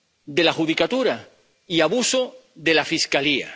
de la judicatura y abuso de la Fiscalía.